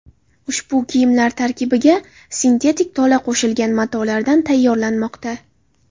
Ushbu kiyimlar tarkibiga sintetik tola qo‘shilgan matolardan tayyorlanmoqda.